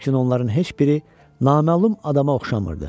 Lakin onların heç biri naməlum adama oxşamırdı.